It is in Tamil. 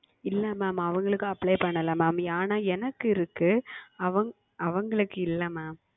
இல்லை Mam அவங்களுக்கு Apply செய்யவில்லை Mam ஆனால் எனக்கு இருக்கு அவங்களுக்கு அவங்களுக்கு இல்லை Mam